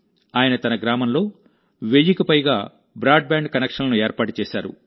ఆయన తన గ్రామంలో వెయ్యికి పైగా బ్రాడ్బ్యాండ్ కనెక్షన్లను ఏర్పాటు చేశారు